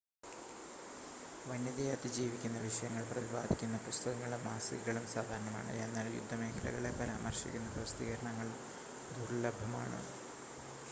വന്യതയെ അതിജീവിക്കുന്ന വിഷയങ്ങൾ പ്രതിപാദിക്കുന്ന പുസ്തകങ്ങളും മാസികകളും സാധാരണമാണ്, എന്നാൽ യുദ്ധമേഖലകളെ പരാമർശിക്കുന്ന പ്രസിദ്ധീകരണങ്ങൾ ദുർലഭമാണ്